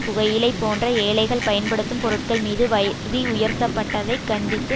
புகையிலை போன்ற ஏழைகள் பயன்படுத்தும் பொருட்கள் மீது வரி உயர்த்தப்பட்டதைக் கண்டித்து